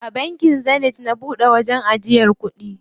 A bankin Zenith na buɗe wajen ajiyar kuɗi.